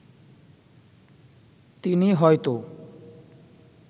তিনি হয়তো